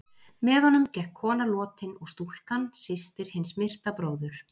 Með honum gekk kona lotin og stúlkan, systir hins myrta bróður.